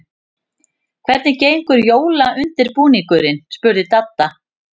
Hvernig gengur jólaundirbúningurinn? spurði Dadda.